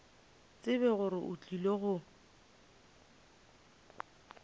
tsebe gore o tlile go